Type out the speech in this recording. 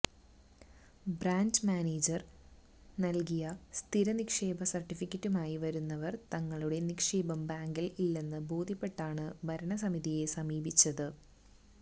branch manager നല്കിയ സ്ഥിരനിക്ഷേപ സര്ട്ടിഫിക്കറ്റുമായി വരുന്നവര് തങ്ങളുടെ നിക്ഷേപം ബാങ്കില് ഇല്ലെന്ന് ബോദ്ധ്യപ്പെട്ടാണ് ഭരണസമിതിയെ സമീപിച്ചത്